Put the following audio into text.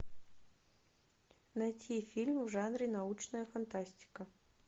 найти фильмы в жанре научная фантастика